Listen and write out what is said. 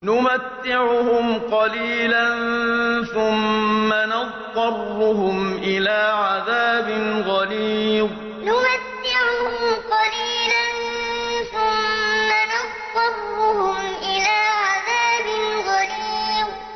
نُمَتِّعُهُمْ قَلِيلًا ثُمَّ نَضْطَرُّهُمْ إِلَىٰ عَذَابٍ غَلِيظٍ نُمَتِّعُهُمْ قَلِيلًا ثُمَّ نَضْطَرُّهُمْ إِلَىٰ عَذَابٍ غَلِيظٍ